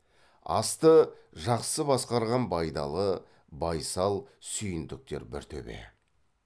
асты жақсы басқарған байдалы байсал сүйіндіктер бір төбе